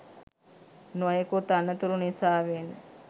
නොයෙකුත් අනතුරු නිසාවෙන්